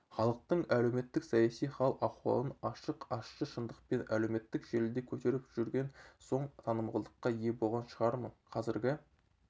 халықтың әлеуметтік-саяси хал-ахуалын ашық ащы шындықпен әлеуметтік желіде көтеріп жүрген соң танымалдыққа ие болған шығармын қазіргі